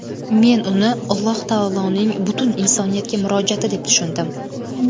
Men uni Alloh taoloning butun insoniyatga murojaati deb tushundim.